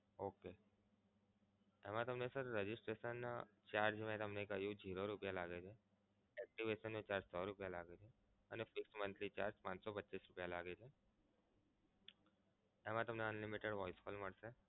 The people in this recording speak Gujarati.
okay એમા તમને sir registration charge જેમ મે કહ્યું એમ zero રૂપિયા લાગે છે. SMS charge સો રૂપિયા લાગે છે અને fixed monthly charge પાંચ સો પચ્ચીસ રૂપિયા લાગે છે. એમા તમને Unlimited voice call મળશે.